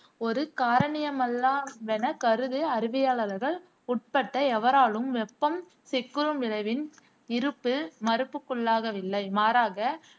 ஒரு காரணியமல்லாவென கருது அறிவியலாளர்கள் உட்பட்ட எவராலும் வெப்பம் சிக்குறும் விளைவின் இருப்பு மறுப்புக்குள்ளாகவில்லை. மாறாக